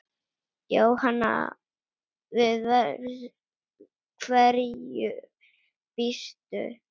Jóhann: Við hverju býstu?